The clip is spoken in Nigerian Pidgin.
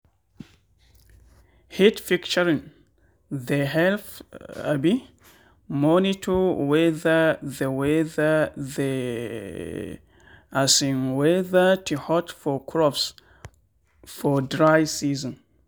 heat picturing they help um monitor whether the whether the um weather to hot for crops for dry season.